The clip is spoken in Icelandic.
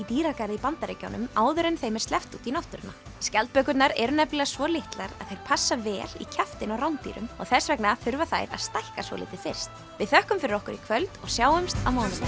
dýragarði í Bandaríkjunum áður en þeim er sleppt út í náttúruna skjaldbökurnar eru nefnilega svo litlar að þær passa vel í kjaftinn á rándýrum og þess vegna þurfa þær að stækka svolítið fyrst við þökkum fyrir okkur í kvöld og sjáumst á mánudaginn